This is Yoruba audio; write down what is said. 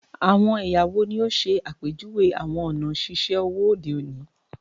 Awọn ẹya wo ni o ṣe apejuwe awọn ọna ṣiṣe owo ode oni?